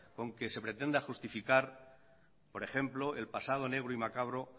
con que se pretende justificar por ejemplo el pasado negro y macabro